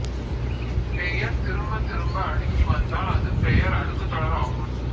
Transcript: பெயர் திரும்பத் திரும்ப அடுக்கி வந்தால் அது பெயர் அடுக்குத் தொடர் ஆகும்